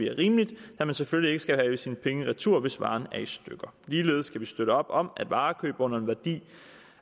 er rimeligt da man selvfølgelig ikke skal have sine penge retur hvis varen er i stykker ligeledes kan vi støtte op om at varekøb under en værdi